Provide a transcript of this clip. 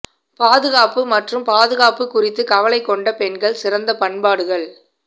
பாதுகாப்பு மற்றும் பாதுகாப்பு குறித்து கவலை கொண்ட பெண்கள் சிறந்த பயன்பாடுகள்